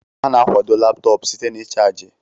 A na-akwado Laptọọpụ site na ịchaji